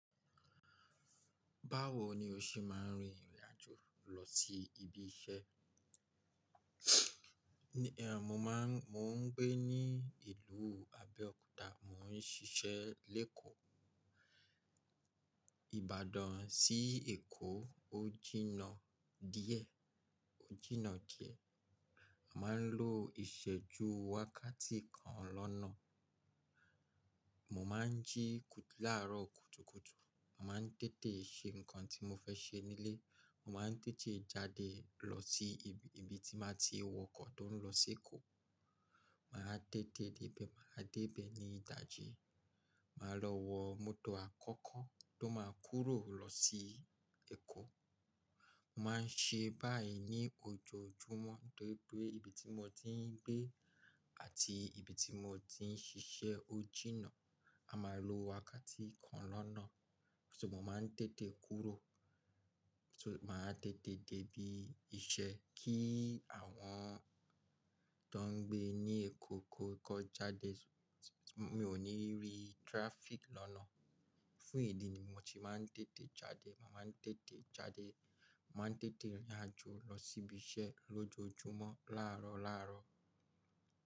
Báwo ni o ṣe máa ń rin ìrìn àjò lọ sí ibi iṣẹ́? Mo máa ń, mo ń gbé ní ìlú Abẹ́òkúta, mò ń ṣiṣẹ́ lékò. Ìbàdàn sí Èkó ò jína díẹ̀, ò jína díẹ̀. A máa ń lo ìsẹ́jú wákàtí kan lọ́nà. Mò máa ń jí láàárọ̀ kùtùkùtù, mò máa ń tètè ṣe nǹkan tí mo fẹ́ ṣe nílé, mò máa ń tètè jáde lọ sí ibi tí màá ti wọ ọkọ̀ tó ń lọ sí Èkó. Màá tètè débẹ̀, màá débẹ̀ ní ìdájí, màá lọ wọ mọ́tò àkọ́kọ́ tó máa kúrò lọ sí Èkó. Mo máa ń ṣe báyìí ní ojoojúmọ́ nítorí pé ibi tí mo ti ń gbé àti ibi tí mo ti ń ṣiṣẹ́ ò jína. A máa lo wákàtí kan lọ́nà. Só mo máa ń tètè kúrò, só máa tètè débí iṣẹ́ kí àwọn tó ń gbé ní Èkó kó jáde. Mi ò ní rí traffic lọ́nà. Fún ìdí ni mo ti máa ń tètè jáde. Màá máa ń tètè jáde, màá ń tètè rìn àjò lọ sí ibi iṣẹ́ lójoojúmọ́ láàárọ̀ láàárọ̀.